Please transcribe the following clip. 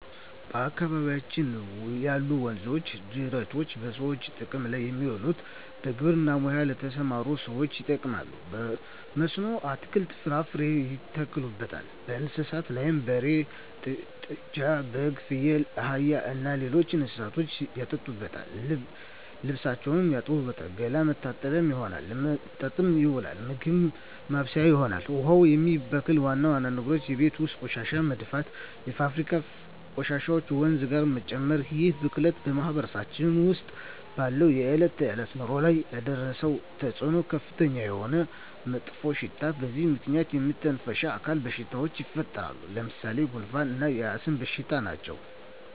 በአካባቢያችን ያሉ ወንዞች ወይም ጅረቶች በሰዎች ጥቅም ላይ የሚውለው በግብርና ሙያ ለተሠማሩ ሠዎች ይጠቅማል። በመስኖ አትክልትን፣ ፍራፍሬ ያተክሉበታል። ለእንስሳት ላም፣ በሬ፣ ጥጃ፣ በግ፣ ፍየል፣ አህያ እና ሌሎች እንስሶችን ያጠጡበታል፣ ልብስ ይታጠብበታል፣ ገላ መታጠቢያነት ይሆናል። ለመጠጥነት ይውላል፣ ምግብ ማብሠያ ይሆናል። ውሃውን የሚበክሉ ዋና ዋና ነገሮች የቤት ውስጥ ቆሻሻ መድፋት፣ የፋብሪካ ቆሻሾችን ወንዙ ጋር መጨመር ይህ ብክለት በማህበረሰባችን ውስጥ ባለው የዕለት ተዕለት ኑሮ ላይ ያደረሰው ተፅኖ ከፍተኛ የሆነ መጥፎሽታ በዚህ ምክንያት የመተነፈሻ አካል በሽታዎች ይፈጠራሉ። ለምሣሌ፦ ጉንፋ እና የአስም በሽታ ናቸው።